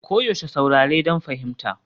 Koyaushe saurare don fahimta.